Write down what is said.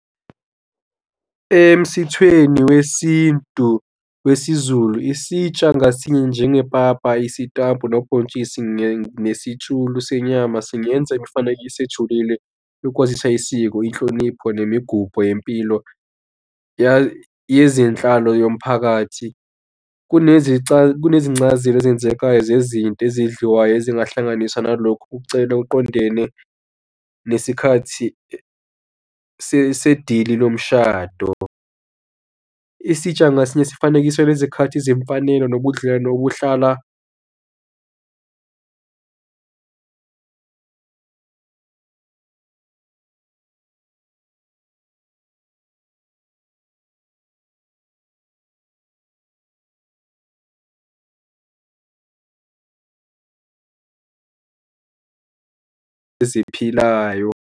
Emsithweni wesintu wesiZulu isitsha ngasinye njengepapa, isitambu, nobhontshisi nesitshulu senyama singenza ekufaneke sijulile lokwazisa isiko, inhlonipho nemigubho yempilo yezenhlalo yomphakathi. Kunezincazelo ezenzekayo zezinto ezidliwayo ezingahlanganisa nalokhu ukucela oqondene nesikhathi sedili lomshado. Isitsha ngasinye sifanekiso, nezikhathi zemfanelo nobudlelwane obuhlala eziphilayo.